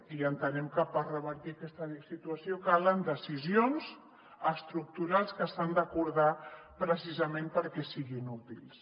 i entenem que per revertir aquesta situació calen decisions estructurals que s’han d’acordar precisament perquè siguin útils